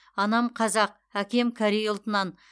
анам қазақ әкем корей ұлтынан